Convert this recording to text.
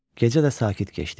Gecə də sakit keçdi.